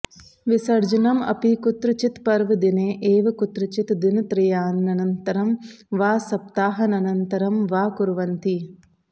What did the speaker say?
विसर्जनम् अपि कुत्रचित् पर्वदिने एव कुत्रचित् दिनत्रयानन्तरं वा सप्ताहनन्तरं वा कुर्वन्ति